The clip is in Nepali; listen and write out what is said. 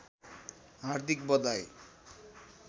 हार्दिक बधाई